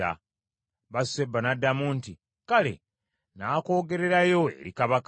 Basuseba n’addamu nti, “Kale, nnaakwogererayo eri Kabaka.”